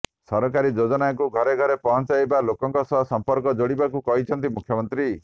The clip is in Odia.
ସରକାରୀ ଯୋଜନାକୁ ଘରେ ଘରେ ପହଞ୍ଚାଇ ଲୋକଙ୍କ ସହ ସମ୍ପର୍କ ଯୋଡିବାକୁ କହିଛନ୍ତି ମୁଖ୍ୟମନ୍ତ୍ରୀ